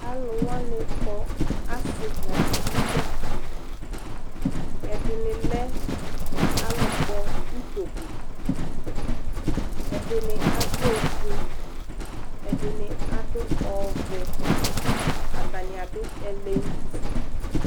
Alʋ wanɩ kɔ asɩ nʋ aluvi dza Ɛdɩnɩ lɛ alʋkpɔ utoku Ɛdɩnɩ adʋ ofue, ɛdɩnɩ adʋ ɔvɛ Atanɩ adʋ ɛlɛnʋti